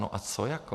No a co jako?